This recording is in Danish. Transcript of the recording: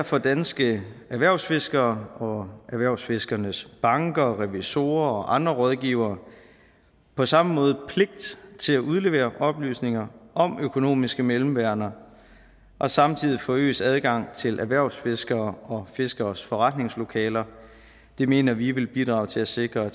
får danske erhvervsfiskere og erhvervsfiskernes banker revisorer og andre rådgivere på samme måde pligt til at udlevere oplysninger om økonomiske mellemværender og samtidig forøges adgangen til erhvervsfiskere og fiskeres forretningslokaler det mener vi vil bidrage til at sikre